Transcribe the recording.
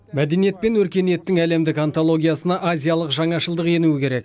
мәдениет пен өркениеттің әлемдік антологиясына азиялық жаңашылдық енуі керек